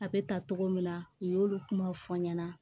A bɛ ta togo min na u y'olu kumaw fɔ n ɲɛna